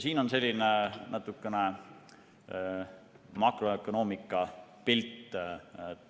Siin on selline natukene makroökonoomiline pilt.